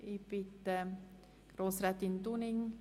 Sicherheitshalber frage ich nochmals nach: